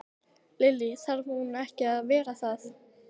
Lillý: Þarf hún ekki að vera það?